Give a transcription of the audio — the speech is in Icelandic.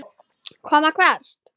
Koma hvert?